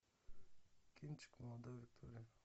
кинчик молодая виктория